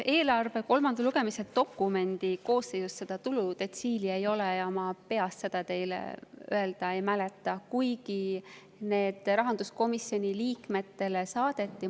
Eelarve kolmanda lugemise dokumendi koosseisus seda tuludetsiili ei ole ja ma peast seda teile öelda ei oska, ei mäleta, kuigi need rahanduskomisjoni liikmetele saadeti.